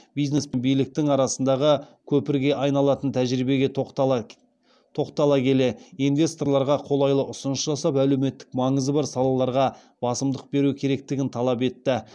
бизнес пен биліктің арасындағы көпірге айналатын тәжірибеге тоқтала келе инвесторларға қолайлы ұсыныс жасап әлеуметтік маңызы бар салаларға басымдық беру керектігін талап етті